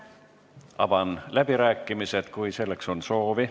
Avan läbirääkimised, kui on kõnesoovi.